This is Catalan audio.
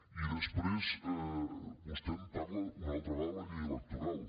i després vostè em parla una altra vegada de la llei electoral